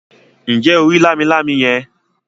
Ǹjẹ́ o rí “ lámilámi ” yẹn.?